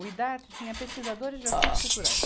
O Idarte tinha pesquisadores de assuntos culturais.